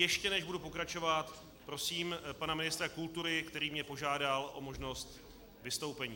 Ještě než budu pokračovat, prosím pana ministra kultury, který mě požádal o možnost vystoupení.